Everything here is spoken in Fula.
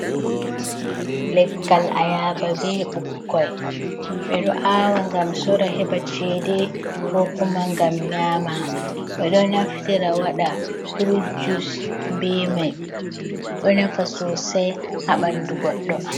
Legkal a yaba be ɓukkoy, ɓe ɗo awa gam sora heɓa chede ko kuma gam nyama, ɓe ɗo naftira waɗa furut jus be mai, ɗo nafa sosai ha ɓandu goɗɗo.